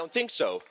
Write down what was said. I don't think so.